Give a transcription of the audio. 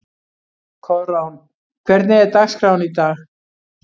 Koðrán, hvernig er dagskráin í dag?